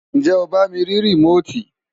ǹjẹ́ o bá mi rí rìmóòtì?